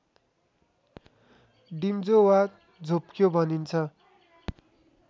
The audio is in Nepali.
डिम्जो वा झोप्क्यो भनिन्छ